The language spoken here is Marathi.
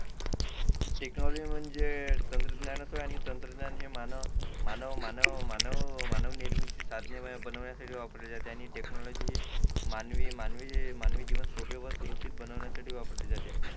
टेक्नॉलॉजी म्हणजे तंत्रज्ञान आणि तंत्रज्ञान हे मानव मानव मानव मानवनिर्मिती साधने बनवण्यासाठी वापरले जाते आणि टेक्नॉलॉजी ही मानवी मानवी मानवी जीवन सोपे व सुरक्षित बनवण्यासाठी वापरले जाते